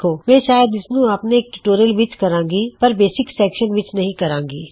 ਮੈਂ ਸ਼ਾਇਦ ਇਸਨੂੰ ਆਪਣੇ ਇੱਕ ਟਿਊਟੋਰਿਯਲ ਵਿੱਚ ਕਰਾਂਗਾ ਪਰ ਬੇਸਿਕ ਸੈਕਸ਼ਨ ਵਿੱਚ ਨਹੀ ਕਰਾਂਗਾ